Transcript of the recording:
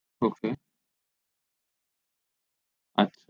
ok আচ্ছা